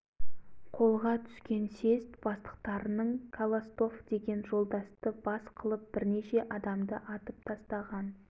қасаболатұлы мырзағалиұлы әлібекұлдары оралға барып сол қаратайұлдарына жолығып жатқан мылтық сатып алмақ болған сол беттерінде казак-орыс